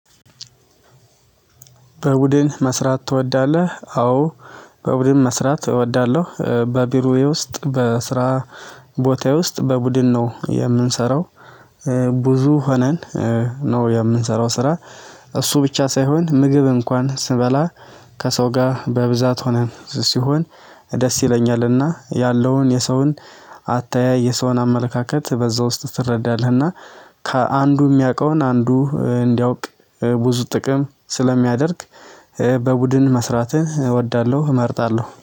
በቡድን መስራት ትወዳለህ? አዎ። በቡድን መስራት እወዳለሁ በቢሮዬ ውስጥ በስራ ቦታዬ ውስጥ በቡድን ነው የምንሰራው። ብዙ ሆነን ነው የምንሰራው ስራ እሱ ብቻ ሳይሆን ምግብ እንኳን ስበላ ከሰው ጋር በብዛት ሆነን ሲሆን ደስ ይለኛልና ያለውን የሰውን አተያይ፣ የሰውን አመለካከት በዛ ውስጥ ትረዳለህና ከአንዱ የሚያውቀውን አንዱ እንዲያውቅ ብዙ ጥቅም ስለሚያደርግ በቡድን መስራትን እወዳለሁ እመርጣለሁ።